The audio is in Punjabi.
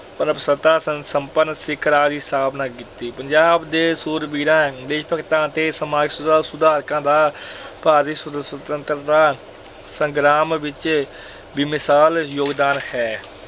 ਪ੍ਰਭੂਸੁਤਾ ਸੰਪਨ ਸਿੱਖ ਰਾਜ ਦੀ ਸਥਾਪਨਾ ਕੀਤੀ। ਪੰਜਾਬ ਦੇ ਸੂਰਬੀਰਾਂ ਲਈ ਭਗਤਾਂ ਅਤੇ ਸਮਾਜ ਸੁਧਾਰਕਾਂ ਦਾ ਭਾਰਤੀ ਸੁਤੰਤਰਤਾ ਅਹ ਸੰਗਰਾਮ ਵਿੱਚ ਬੇਮਿਸਾਲ ਯੋਗਦਾਨ ਹੈ।